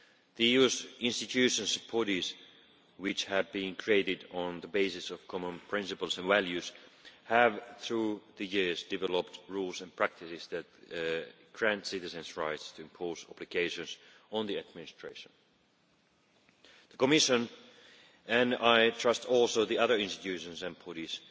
The EU's institutions and bodies, which have been created on the basis of common principles and values, have through the years developed rules and practices that grant citizens rights to impose obligations on the administration. The Commission, and I trust also the other institutions and bodies,